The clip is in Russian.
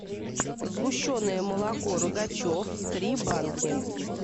сгущенное молоко рогачев три банки